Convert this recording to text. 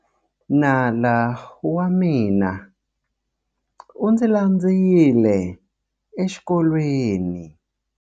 Nala wa mina u ndzi landzile exikolweni.